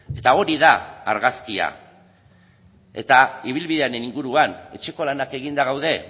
eta hori da argazkia eta ibilbidearen inguruan etxeko lanak eginda gaude